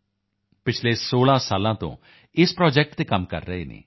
ਉਹ ਪਿਛਲੇ 16 ਸਾਲਾਂ ਤੋਂ ਇਸ ਪ੍ਰੋਜੈਕਟ ਤੇ ਕੰਮ ਕਰ ਰਹੇ ਹਨ